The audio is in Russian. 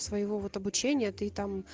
своего вот обучения ты там